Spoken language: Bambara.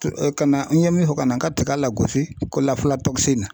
ka na n ye min fɔ ka na n ka tiga lagosi ko